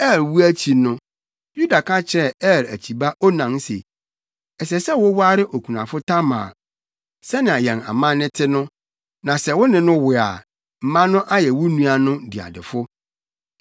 Er wu akyi no, Yuda ka kyerɛɛ Er akyiba Onan se, “Ɛsɛ sɛ woware okunafo Tamar, sɛnea yɛn amanne te no, na sɛ wo ne no wo a, mma no ayɛ wo nua no diadefo.”